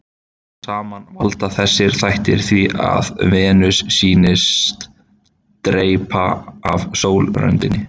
Saman valda þessir þættir því að Venus sýnist dreypa af sólröndinni.